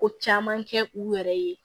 Ko caman kɛ u yɛrɛ ye